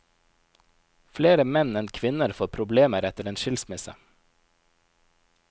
Flere menn enn kvinner får problemer etter en skilsmisse.